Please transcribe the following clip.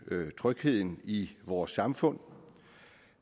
trygheden i vores samfund